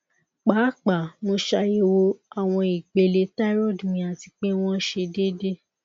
paapaa mo ṣayẹwo awọn ipele thyroid mi ati pe wọn sẹ deede